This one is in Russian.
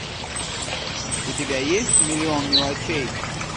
у тебя есть миллион мелочей